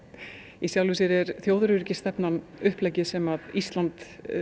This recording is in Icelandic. í sjálfu sér er þjóðaröryggisstefnan uppleggið sem Ísland